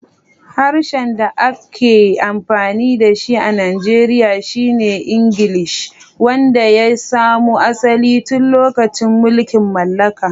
Harshen da ake amfani da shi a Najeriya shi ne Ingilishi, wanda ya samo asali tun lokacin mulkin mallaka.